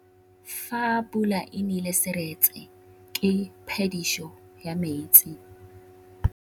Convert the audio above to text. Fa pula e nelê serêtsê ke phêdisô ya metsi.